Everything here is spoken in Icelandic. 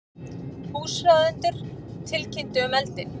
Húsráðendur tilkynntu um eldinn